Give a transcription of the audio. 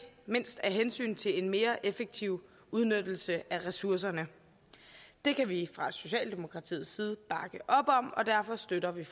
mindst af hensyn til en mere effektiv udnyttelse af ressourcerne det kan vi fra socialdemokratiets side bakke op om og derfor støtter vi